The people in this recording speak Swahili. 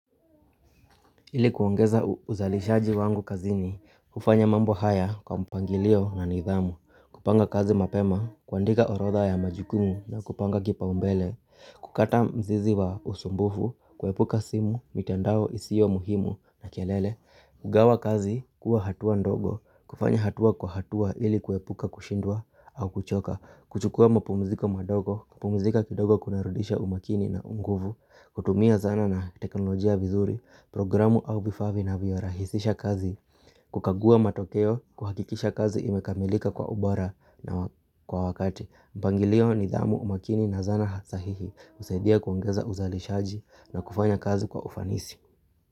Ili kuongeza uzalishaji wangu kazini, kufanya mambo haya kwa mpangilio na nidhamu, kupanga kazi mapema, kuandika orodha ya majukumu na kupanga kipaumbele, kukata mzizi wa usumbufu, kuepuka simu, mitandao isio muhimu na kelele. Kugawa kazi, kuwa hatua ndogo, kufanya hatua kwa hatua ili kuepuka kushindwa au kuchoka, kuchukua mapumziko madogo, kupumzika kidogo kuna rudisha umakini na unguvu, kutumia zana na teknolojia vizuri, programu au vifaa vinavyorahisisha kazi, kukagua matokeo, kuhakikisha kazi imekamilika kwa ubora na kwa wakati. Mpangilio nidhamu umakini na zana sahihi, husaidia kuongeza uzalishaji na kufanya kazi kwa ufanisi.